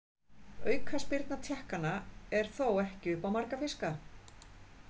Aukaspyrna Tékkanna er þó ekki upp á marga fiska.